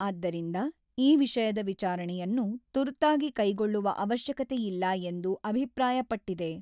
ಆದ್ದರಿಂದ ಈ ವಿಷಯದ ವಿಚಾರಣೆಯನ್ನು ತುರ್ತಾಗಿ ಕೈಗೊಳ್ಳುವ ಅವಶ್ಯಕತೆ ಇಲ್ಲ ಎಂದು ಅಭಿಪ್ರಾಯಪಟ್ಟಿದೆ.